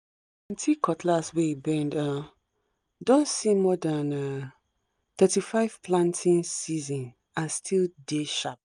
cutlass wey bend um don see more than um 35 planting season and still dey sharp